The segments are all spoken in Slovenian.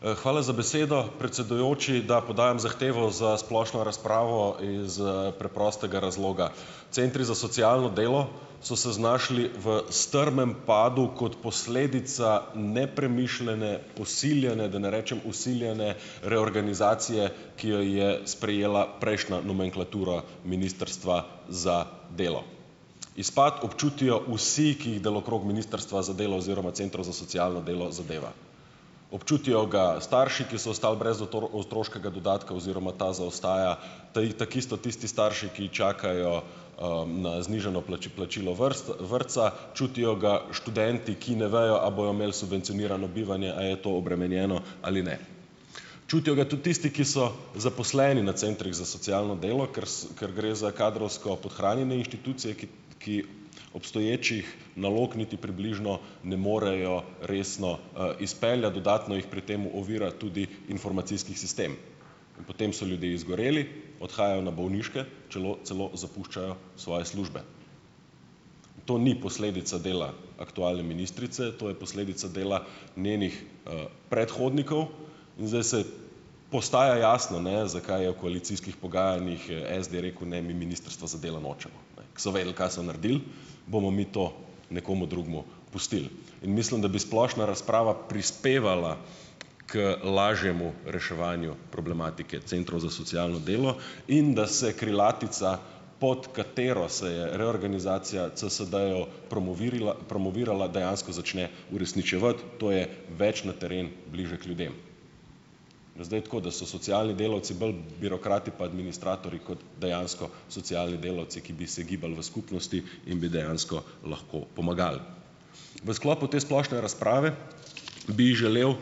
Hvala za besedo, predsedujoči. Da, podajam zahtevo za splošno razpravo iz, preprostega razloga. Centri za socialno delo so se znašli v strmem padu kot posledica nepremišljene, posiljene, da ne rečem vsiljene reorganizacije, ki jo je sprejela prejšnja nomenklatura Ministrstva za delo. Izpad občutijo vsi, ki jih delokrog Ministrstva za delo oziroma centrov za socialno delo, zadeva. Občutijo ga starši, ki so ostali brez otroškega dodatka, oziroma ta zaostaja, takisto tisti starši, ki čakajo, na znižano plačilo vrtca. Čutijo ga študenti, ki ne bojo, a bojo imeli subvencionirano bivanje, a je to obremenjeno ali ne. Čutijo ga tudi tisti, ki so zaposleni na centrih za socialno delo. Ker ker gre za kadrovsko podhranjene inštitucije, ki ki obstoječih nalog niti približno ne morejo resno, izpeljati. Dodatno jih pri tem ovira tudi informacijski sistem. In potem so ljudje izgoreli, odhajajo na bolniške, čelo celo zapuščajo svoje službe. To ni posledica dela aktualne ministrice, to je posledica dela njenih, predhodnikov. In zdaj se postaja jasno, ne, zakaj je v koalicijskih pogajanjih je SD rekel: "Ne, mi Ministrstva za delo nočemo." So vedeli, kaj so naredili. Bomo mi to nekomu drugemu pustili. In mislim, da bi splošna razprava prispevala k lažjemu reševanju problematike centrov za socialno delo. In da se krilatica, pod katero se je reorganizacija CSD-jev promovirila promovirala, dejansko začne uresničevati, to je - več na teren, bliže k ljudem. Zdaj, tako. Da so socialni delavci bolj birokrati pa administratorji kot dejansko socialni delavci, ki bi se gibali v skupnosti in bi dejansko lahko pomagali. V sklopu te splošne razprave bi želel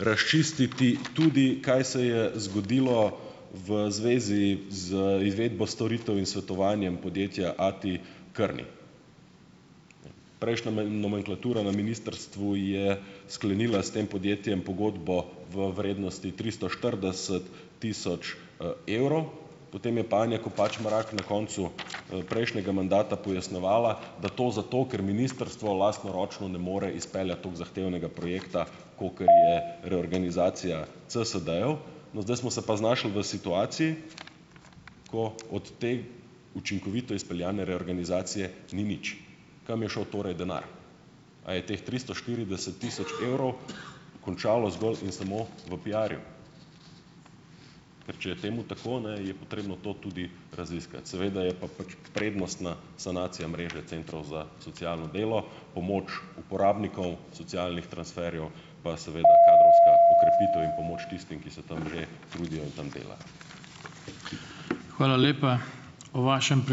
razčistiti tudi, kaj se je zgodilo v zvezi z izvedbo storitev in svetovanjem podjetja A T Kearney. Prejšnja nomenklatura na ministrstvu je sklenila s tem podjetjem pogodbo v vrednosti tristo štirideset tisoč, evrov, potem je pa Anja Kopač Mrak na koncu, prejšnjega mandata pojasnjevala, da to zato ker ministrstvo lastnoročno ne more izpeljati tako zahtevnega projekta, kakor je reorganizacija CSD-jev. No, zdaj smo se pa znašli v situaciji, ko od te učinkovito izpeljane reorganizacije ni nič. Kam je šel torej denar? A je teh tristo štirideset tisoč evrov končalo zgolj in samo v piarju? Ker če je temu tako, ne, je potrebno to tudi raziskati. Seveda je pa pač prednostna sanacija mreže centrov za socialno delo, pomoč uporabnikov socialnih transferjev pa seveda kadrovska okrepitev in pomoč tistim, ki se tam že trudijo in tam delajo.